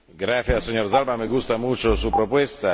Gracias, señor Zalba, me gusta mucho su propuesta.